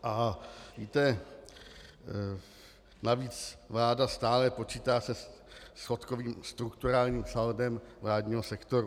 A víte, navíc vláda stále počítá se schodkovým strukturálním saldem vládního sektoru.